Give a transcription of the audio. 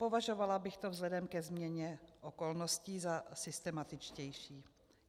Považovala bych to vzhledem ke změně okolností za systematičtější.